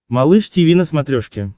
малыш тиви на смотрешке